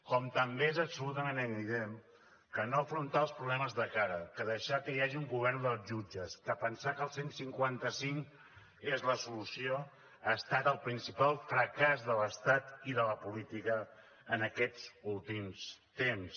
com també és absolutament evident que no afrontar els problemes de cara que deixar que hi hagi un govern dels jutges que pensar que el cent i cinquanta cinc és la solució ha estat el principal fracàs de l’estat i de la política en aquests últims temps